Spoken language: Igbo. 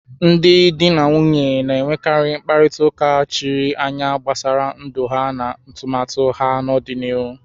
Ndị di na nwunye na-enwekarị mkparịta ụka chiri anya gbasara ndụ ha na atụmatụ ha n'ọdịnihu.